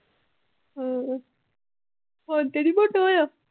ਹਮ ਹੁਣ ਤੇ ਨੀ ਮੋਟਾ ਹੋਇਆ?